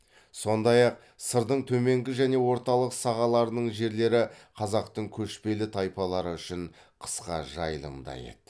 сондай ақ сырдың төменгі және орталық сағаларының жерлері қазақтың көшпелі тайпалары үшін қысқы жайылым да еді